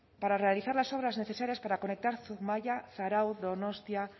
para realizar las obras necesarias para conectar zumaia zarauz donostia